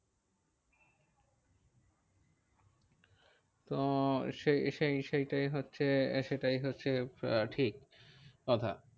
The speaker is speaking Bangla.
তো সেই সেই সেইটাই হচ্ছে, সেটাই হচ্ছে আহ ঠিক কথা।